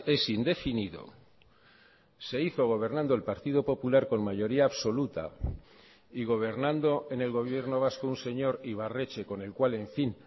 es indefinido se hizo gobernando el partido popular con mayoría absoluta y gobernando en el gobierno vasco un señor ibarretxe con el cual en fin